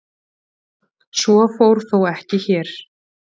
Svo fór þó ekki hér.